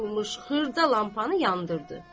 qoyulmuş xırda lampanı yandırdı.